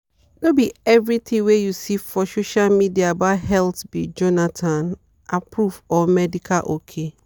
no be everything wey you see for social media about health be jonathan-approved or medical ok.